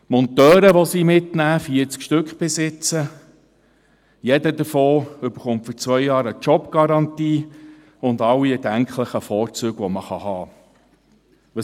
Die Monteure, die sie mitnehmen – bis jetzt sind es 40 Stücke – erhalten eine Jobgarantie für zwei Jahre und alle erdenklichen Vorzüge, die man haben kann.